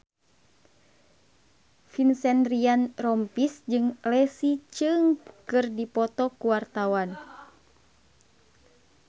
Vincent Ryan Rompies jeung Leslie Cheung keur dipoto ku wartawan